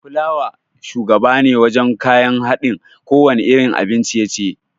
Fulawa shugabane wajan kayan haɗin kowanne irin abin ciye-ciye